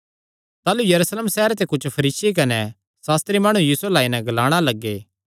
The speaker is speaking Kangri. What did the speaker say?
ताह़लू यरूशलेम सैहरे ते कुच्छ फरीसी कने सास्त्री माणु यीशु अल्ल आई नैं ग्लाणा लग्गे